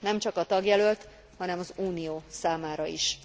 Nemcsak a tagjelölt, hanem az Unió számára is.